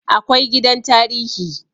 Akwai gidan tarihi